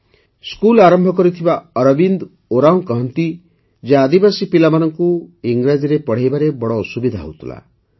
ଏହି ସ୍କୁଲ ଆରମ୍ଭ କରିଥିବା ଅରବିନ୍ଦ ଉରାଓଁ କହନ୍ତି ଯେ ଆଦିବାସୀ ପିଲାମାନଙ୍କୁ ଇଂରାଜୀରେ ପଢ଼ାଇବାରେ ବଡ଼ ଅସୁବିଧା ହେଉଥିଲା